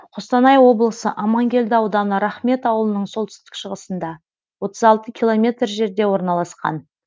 қостанай облысы амангелді ауданы рахмет ауылының солтүстік шығысында отыз алты километр жерде орналасқан